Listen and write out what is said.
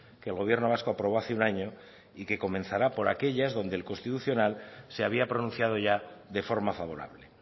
que el gobierno vasco aprobó hace un año y que comenzará por aquellas donde el constitucional se había pronunciado ya de forma favorable